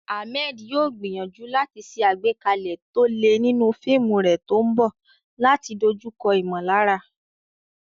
Ahmed yóò gbìyànjú láti ṣe àgbékalẹ̀ tó le nínú fíìmù rẹ̀ tó ń bọ̀ láti dojúkọ ìmọ̀lára.